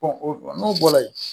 o n'o bɔra yen